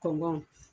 Kɔngɔn